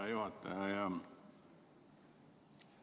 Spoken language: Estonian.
Hea juhataja!